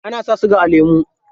Ana sa siga a lemu.